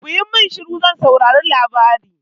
Kuyi min shiru zan saurari labarai!